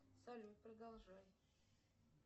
салют продолжай